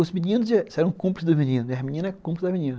Os meninos eram cúmplices dos meninos, e as meninas cúmplices dos meninas.